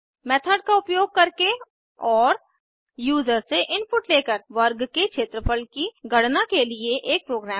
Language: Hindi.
मेथड का उपयोग करके और यूजर से इनपुट लेकर वर्ग के क्षेत्रफल की गणना के लिए एक प्रोग्राम लिखें